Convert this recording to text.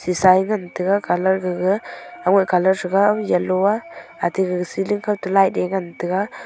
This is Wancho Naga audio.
shisa e ngan taiga colour gaga yellow a ate e ceiling kaw toh light e ngan taiga.